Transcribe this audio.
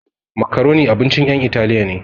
Macaroni abincin ƴan italiya ne